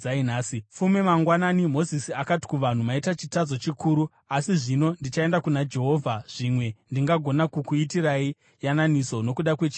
Fume mangwana Mozisi akati kuvanhu, “Maita chitadzo chikuru. Asi zvino ndichaenda kuna Jehovha; zvimwe ndingagona kukuitirai yananiso nokuda kwechivi chenyu.”